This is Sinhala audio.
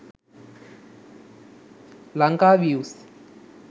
lankaviews